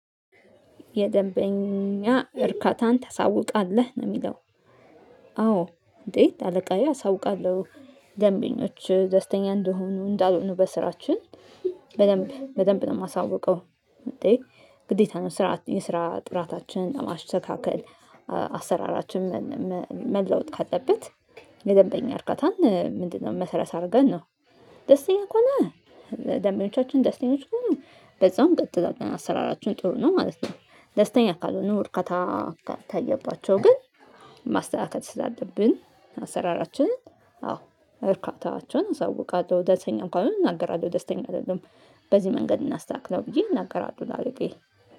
የደንበኛ እርካታን ታሳውቃለህ ነው እሚለው። አዎ እንዴት? አለቃዬ አሳውቃለሁ። ደንበኞች ደስተኛ እንዲሆኑ እንዳልሆኑ በስራችን በደንብ በደንብ ነው የማሳውቀው። ግዴታ ነው ስራ የስራ ጥራታችንን ለማሽተካከል አሰራራችንን መለወጥ ካለበት የደንበኛ እርጋታን ምንድነው? መሰረት አድርገን ነው ደስተኛ ከሆነ ደምነኞቻችን ደስተኛዎች ከሆነ በዛውም እንቀጥላለን ገና አሰራራችሁን ጥሩ ነው ማለት ነው። ደስተኛ ካልሆነ እርካታ ካልታየባቸው ግን ማስተካከል ስላደረብን አሰራራችንን አዎ እርካታቸውን አሳውቃለሁ። ደስተኛ እንኳን እንናገራለሁ ደስተኛ አይደለም በዚህ መንገድ እናስተካክላለን ብዬ እናገራለሁ። ላለቃየ